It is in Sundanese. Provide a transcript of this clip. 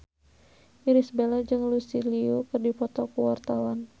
Irish Bella jeung Lucy Liu keur dipoto ku wartawan